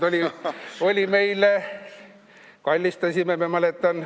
Eelmine kord me kallistasime, ma mäletan.